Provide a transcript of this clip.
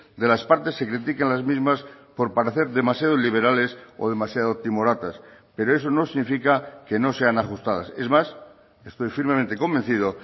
de las partes se critiquen las mismas por parecer demasiado liberales o demasiado timoratas pero eso no significa que no sean ajustadas es más estoy firmemente convencido